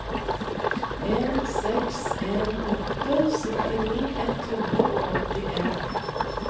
en seks en åtte syttini ett hundre og åttien